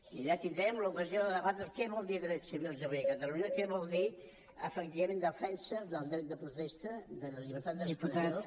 i allà tindrem l’ocasió de debatre què vol dir drets civils avui a catalunya què vol dir efectivament defensa del dret de protesta de la llibertat d’expressió